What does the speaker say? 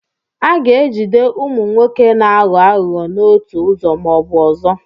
A ga-ejide ụmụ nwoke na-aghọ aghụghọ n'otu ụzọ ma ọ bụ ọzọ.